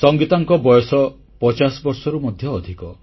ସଙ୍ଗୀତାଙ୍କ ବୟସ 50 ବର୍ଷରୁ ମଧ୍ୟ ଅଧିକ